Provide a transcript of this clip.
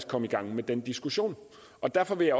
komme i gang med den diskussion derfor vil